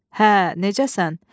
Hə, necəsən?